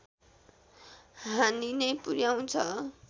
हानि नै पुर्‍याउँछ